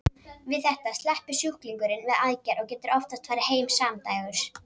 Við þetta sleppur sjúklingurinn við aðgerð og getur oftast farið heim samdægurs.